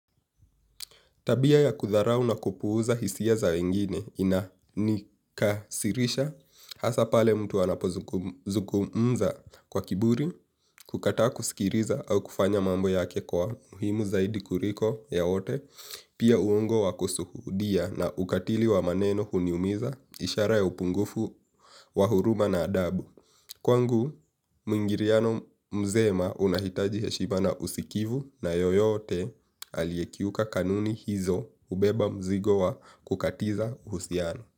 Tabia ya kudharau na kupuuza hisia za wengine inanikasirisha. Hasa pale mtu anapozuku mza kwa kiburi, kukata kusikiliza au kufanya mambo yake kwa muhimu zaidi kuliko ya wote. Pia uongo wa kusuhudia na ukatili wa maneno huniumiza ishara ya upungufu, wa huruma na adabu. Kwangu, muingiliano mzema unahitaji heshiba na usikivu na yoyote aliyekiuka kanuni hizo hubeba mzigo wa kukatiza uhusiano.